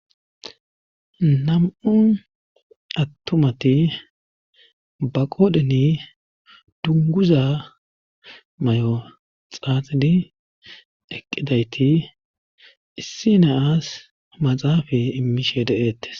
Nam7un attumati ba qoodheni dunguza may7o xaaxidi eqqidayti issi naas maxaafa immishe deeettes.